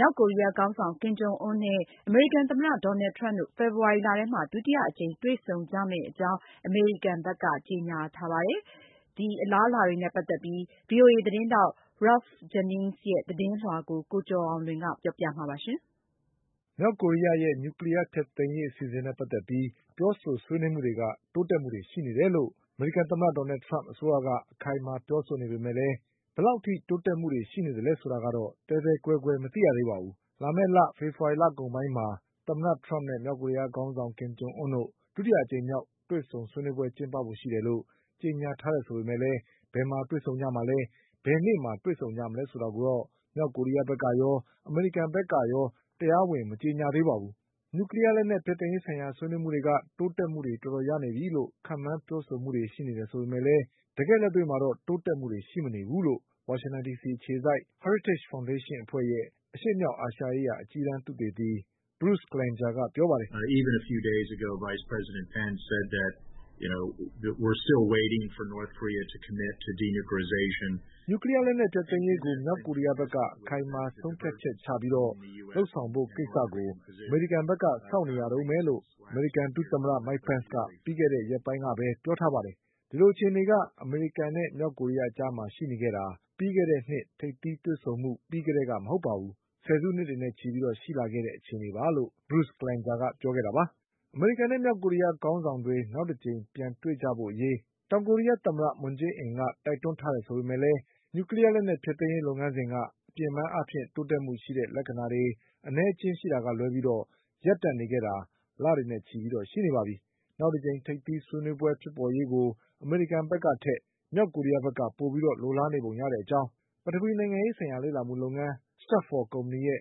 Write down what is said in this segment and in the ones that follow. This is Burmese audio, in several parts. မြောက်ကိုရီးယားခေါင်းဆောင် ကင်ဂျုံအွန်းနဲ့ အမေရိကန် သမ္မတဒေါ်နလ်ထရမ့် တို့ ဖေဖေါ်ဝါရီလ ထဲမှာ ဒုတိယအကြိမ် တွေ့ဆုံကြမယ့်အကြောင်း အမေရိကန်ဘက် ကကြေညာထားပါတယ်။ ဒါပေမဲ့လည်း မြောက်ကိုရီးယားရဲ့နျူကလီးယား လက်နက်ဖျက်သိမ်းရေးအစီအစဉ်ကတော့ ရှုပ်ထွေးမှုတွေဆက်ပြီးရှိနေတုန်းပဲ ဆိုတဲ့အကြောင်း Ralph Jenningsရဲ့ သတင်းကို ကိုကျော်အောင်လွင်ပြောပြပါလိမ့်မယ်။ မြောက်ကိုရီးယားရဲ့နျူကလီးယားလက်နက်ဖျက်သိမ်းရေး အစီအစဉ်နဲ့ ပတ်သက်ပြီးပြောဆို ဆွေးနွေး မှုတွေက တိုးတက်မှု တွေရှိနေတယ်လို့ အမေရိကန် သမ္မတဒေါ်နလ်ထရမ့်အစိုးရက အခိုင်အမာ ပြောနေပေမဲ့လည်း ဘယ်လောက်အထိတိုး တက်မှုတွေရှိနေတာလဲဆိုတာကတော့ သဲသဲကွဲကွဲ မသိရသေးပါဘူး။ လာမယ့်လ ဖေဖေါ်ဝါရီလကုန်ပိုင်းမှာ သမ္မတထရမ့် နဲ့ မြောက်ကိုရီးယားခေါင်းဆောင် ကင်ဂျုံအွန်းတို့ ဒုတိယမြောက်ထိပ်သီးတွေ့ဆုံပွဲကျင်းပဖို့ရှိတယ်လို့ ကြေညာထားပေမဲ့ လည်း ဘယ်မှာတွေ့ဆုံကြမလဲ၊ ဘယ်နေ့မှာတွေ့ဆုံ မလဲဆိုတာကိုတော့ မြောက်ကိုရီးယားကရော၊ အမေရိကန်ဘက်က ပါ တရားဝင် မကြေညာသေးပါဘူး။ နျူကလီးယား ဖျက်သိမ်းရေးဆိုင်ရာဆွေးနွေးမှုတွေ က တိုးတက်မှုတွေ တော်တော်ရနေ ပြီလို့ ခန့်မှန်းပြောဆိုမှုတွေ ရှိနေပေမဲ့လည်း တကယ့်လက်တွေ့ မှာတော့ တိုးတက်မှုတွေ ရှိမနေဘူးလို့ ဝါရှင်တန်ဒီစီအခြေ စိုက် Heritage Foundationအဖွဲ့ ရဲ့ အရှေ့မြောက်အာရှရေးရာ အကြီးတန်းသုတေသီ Bruce Klingerကပြောပါတယ်။ " နျူကလီးယားလက်နက်ဖျက်သိမ်းရေးကို မြောက်ကိုရီးယားဘက်က အခိုင်အမာဆုံးဖြတ်ချက်ချပြီးလုပ်ဆောင်ဖို့ကိစ္စကို အမေရိကန်ဘက်က စောင့်နေရတုန်းပဲလို့ အမေရိကန်ဒုသမ္မတမိုက်ပန့်စ်က ပြီးခဲ့တဲ့ရက်ပိုင်းကပဲပြောထားပါတယ်၊ ဒီလို အခြေအနေက အမေရိကန်နဲ့မြောက်ကိုရီးယားအကြားမှာရှိနေတာ ပြီးခဲ့တဲ့နှစ်ထိပ်သီးတွေ့ဆုံမှုပြီးကတည်းကမဟုတ်ပါ ဘူး၊ ဆယ်စုနှစ်တွေနဲ့ချီပြီးရှိလာခဲ့တဲ့အခြေအနေပါ" လို့ Bruce Klingerကပြောခဲ့တာပါ။ အမေရိကန်နဲ့ မြောက်ကိုရီးယားခေါင်းဆောင်တွေ နောက်တကြိမ်ပြန် တွေ့ဆုံကြရေး တောင်ကိုရီးယား သမ္မတ မွန်ဂျေး အင်က တိုက်တွန်းထားတယ်ဆိုပေမဲ့ နျူကလီးယားလက်နက်ဖျက်သိမ်းရေး လုပ်ငန်းစဉ်က အပြင်ပန်းအားဖြင့် တိုးတက်မှု ရှိတဲ့လက္ခဏာတွေအနည်းအကျဉ်းရှိတာ ကလွဲပြီး ရပ်တန့်နေခဲ့တာ လတွေနဲ့ချီရှိနေပါပြီ။ နောက်တကြိမ်ထိပ်သီးဆွေးနွေး မှုဖြစ်ပေါ်ရေးကို အမေရိကန် ဘက်ကထက် မြောက်ကိုရီးယားဘက်က ပိုပြီးလိုလားနေပုံ ရတဲ့အကြောင်း ပထဝီနိုင်ငံရေး ဆိုင်ရာလေ့လာမှုလုပ်ငန်း Startforကုမ္ပဏီရဲ့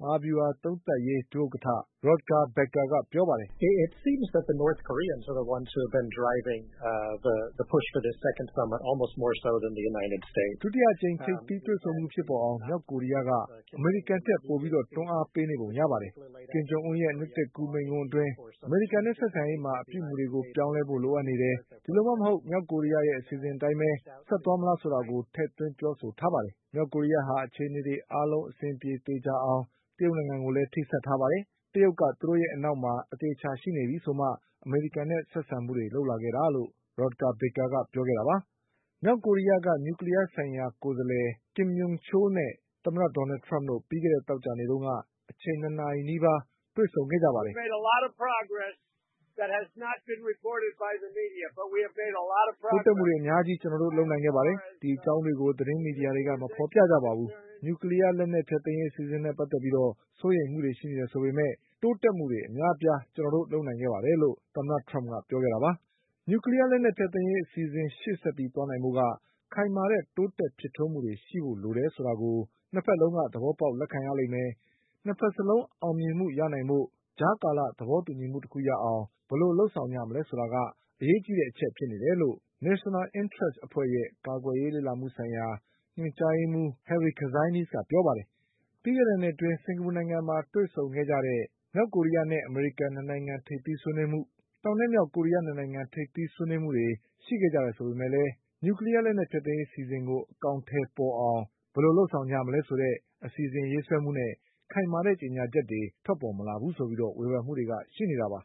မဟာဗျူဟာသုံးသပ်ရေး ဒုဥက္ကဌ Rodger Bakerကပြောပါတယ်။ "ဒုတိယအကြိမ် ထိပ်သီးတွေ့ဆုံမှုဖြစ်ပေါ်အောင် မြောက်ကိုရီးယားက အမေရိကန်ထက်ပိုပြီး တွန်းအားပေး နေပုံရပါတယ်။ ကင်ဂျုံအွန်းရဲ့ နှစ်သစ်ကူးမိန့်ခွန်းအတွင်း အမေရိကန်နဲ့ဆက်ဆံရေးမှာ အပြုအမူတွေပြောင်းလဲဖို့ လိုအပ်နေတယ်၊ ဒီလိုမှမဟုတ် မြောက်ကိုရီးယားရဲ့ အစီအစဉ်အတိုင်းပဲ ဆက်သွားမလားဆိုတာကို ထည့်သွင်းပြောဆိုထားတယ်။ မြောက်ကိုရီးယားဟာ အခြေအနေတွေအားလုံး အဆင်ပြေသေချာအောင် တရုတ်နိုင်ငံကိုလည်း ထိစပ်ထားတယ်။ တရုတ်က သူတို့ရဲ့ အနောက်မှာ အသေအချာရှိနေပြီဆိုမှ အမေရိကန်နဲ့ ဆက်ဆံမှုတွေလုပ်လာခဲ့တာ' လို့ Rodger Bakerကပြောခဲ့တာပါ။ မြောက်ကိုရီးယားက နျူးကလီးယားဆိုင်ရာ ကိုယ်စားလှယ် Kim Yong Cholနဲ့ သမ္မတထရမ့်တို့ပြီးခဲ့တဲ့သောကြာနေ့က အချိန်၂နာရီနီးပါးတွေ့ဆုံခဲ့ကြပါတယ်။ "တိုးတက်မှုတွေအများကြီးကျနော်တို့လုပ်နိုင်ခဲ့ပါတယ်။ ဒီအကြောင်းတွေကို သတင်းမီဒီယာတွေက မဖေါ်ပြကြပါဘူး။ နျူကလီးယားလက်နက်ဖျက်သိမ်းရေးအစီအစဉ်နဲ့ပတ်သက်ပြီးစိုးရိမ်မှုတွေရှိနေတယ်ဆိုပေမဲ့ တိုးတက်မှုတွေအများ အပြားကျနော်တို့လုပ်နိုင်ခဲ့ပါတယ်လို့ သမ္မတထရမ့်ကပြောခဲ့တာပါ။" နျူကလီးယားလက်နက်ဖျက်သိမ်းရေးအစီအစဉ်ရှေ့ဆက်ပြီးသွားနိုင်ဖို့က ခိုင်မာတဲ့တိုးတက်ဖြစ်ထွန်းမှုတွေရှိဖို့လိုတယ် ဆိုတာကို ၂ဘက်လုံးက သဘောပေါက်လက်ခံရလိမ့်မယ်၊ ၂ဘက်စလုံးအောင်မြင်မှုရနိုင်ဖို့ ကြားကာလသဘောတူညီမှု တခုရအောင် ဘယ်လိုလုပ်မလဲဆိုတာက အရေးကြီးတဲ့အချက်ဖြစ်နေတယ်လို့ National Interest အဖွဲ့ရဲ့ ကာကွယ်ရေး လေ့လာမှုဆိုင်ရာ ညွန်ကြားရေးမှုး Harry Kazianis ကပြောပါတယ်။ ပြီးခဲ့တဲ့နှစ်အတွင်း စင်္ကာပူနိုင်ငံမှာတွေ့ဆုံခဲ့ကြတဲ့ မြောက်ကိုရီးယားနဲ့ အမေရိကန်၂နိုင်ငံထိပ်သီးဆွေးနွေးမှု၊ တောင်နဲ့မြောက်ကိုရီးယား၂နိုင်ငံထိပ်သီးတွေ့ဆုံမှုတွေရှိခဲ့ကြတယ်ဆိုပေမဲ့လည်း နျူကလီး ယား လက်နက်ဖျက်သိမ်းရေးအစီအစဉ်ကို အကောင်အထည်ပေါ်အောင် ဘယ်လိုလုပ်ဆောင်မလဲဆိုတဲ့ အစီအစဉ်ရေး ဆွဲမှုနဲ့ ခိုင်မာတဲ့ကြေညာချက်တွေထွက်ပေါ်မလာဘူးဆိုပြီး ဝေဖန်မှုတွေက ရှိနေတာပါ